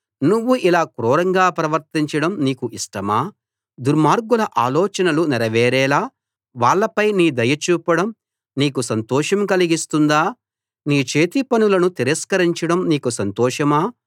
నువ్వు ఇలా క్రూరంగా ప్రవర్తించడం నీకు ఇష్టమా దుర్మార్గుల ఆలోచనలు నెరవేరేలా వాళ్ళపై నీ దయ చూపడం నీకు సంతోషం కలిగిస్తుందా నీ చేతిపనులను తిరస్కరించడం నీకు సంతోషమా